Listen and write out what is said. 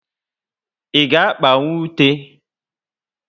I ga akpanwu ute?